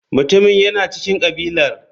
Mutumin yana cikin kabilar.